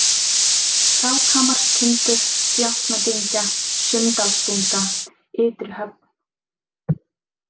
Krákhamarstindur, Djáknadyngja, Sunndalsbunga, Ytrihöfn